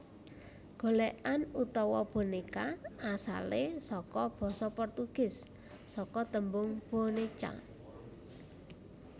Golèkan utawa bonéka asalé saka basa Portugis saka tembung boneca